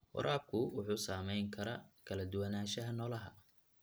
Waraabka wuxuu saameyn karaa kala duwanaanshaha noolaha.